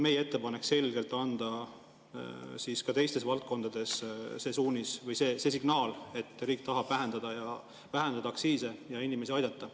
Meie ettepanek oli anda ka teistes valdkondades selge signaal, et riik tahab vähendada aktsiise ja inimesi aidata.